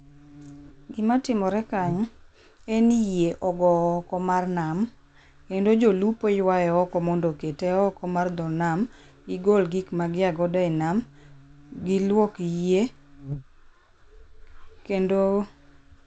gimatimore kanyo en ni yie ogo oko mar nam kendo jolupo yuaye oko mondo okete oko mar dho nam, gigol gikma gia godo e nam, giluok yie kendo